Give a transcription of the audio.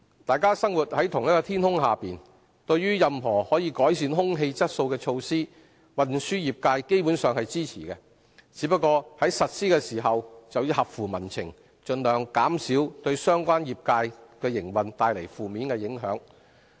大家生活在同一天空下，對於任何可改善空氣質素的措施，運輸業界基本上是支持的，只是在實施時要合乎民情，盡量減少對相關業界的營運帶來負面影響。